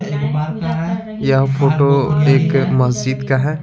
यह फोटो एक मस्जिद का है।